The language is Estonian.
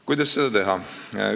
Kuidas seda teha?